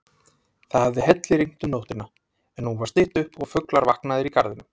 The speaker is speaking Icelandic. Það hafði hellirignt um nóttina, en nú var stytt upp og fuglar vaknaðir í garðinum.